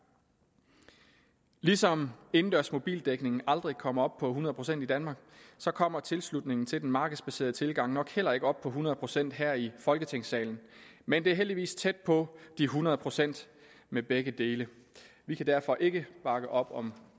ligesom indendørs mobildækning aldrig kommer op på hundrede procent i danmark kommer tilslutningen til den markedsbaserede tilgang nok heller ikke op på hundrede procent her i folketingssalen men det er heldigvis tæt på de hundrede procent med begge dele vi kan derfor ikke bakke op om